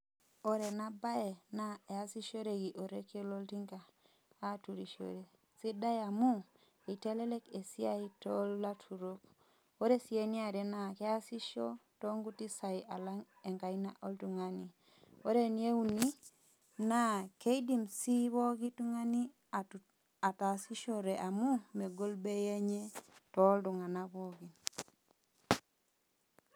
Ore enabae, naa easishoreki orekie loltinka aturishore. Sidai amu, itelelek esiai tolaturok. Ore si eniare naa keasisho tonkuti sai alang' enkaina oltung'ani. Ore eneuni, naa keidim si pooki tung'ani ataasishore amu, megol bei enye toltung'anak pookin.